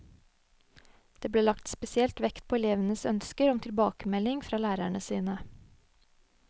Det ble lagt spesielt vekt på elevenes ønsker om tilbakemelding fra lærerne sine.